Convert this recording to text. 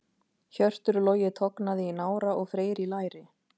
Hjörtur Logi tognaði í nára og Freyr í læri.